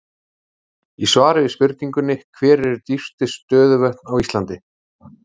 Í svari við spurningunni Hver eru dýpstu stöðuvötn á Íslandi?